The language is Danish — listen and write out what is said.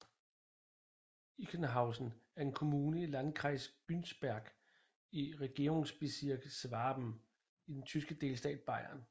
Ichenhausen er en kommune i Landkreis Günzburg i Regierungsbezirk Schwaben i den tyske delstat Bayern